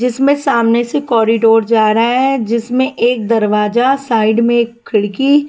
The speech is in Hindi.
जिसमें सामने से कॉरिडोर जा रहा है जिसमें एक दरवाजा साइड में एक खिड़की--